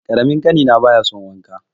Ƙaramin ƙanina baya son wanka.